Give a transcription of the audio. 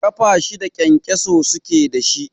Ƙafa shida kyankyasai suke da shi.